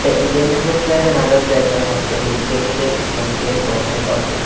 The indian national flags and other flags are hosted indicating that this might be a government office.